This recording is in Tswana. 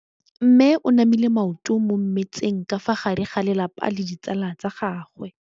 Mme o namile maoto mo mmetseng ka fa gare ga lelapa le ditsala tsa gagwe.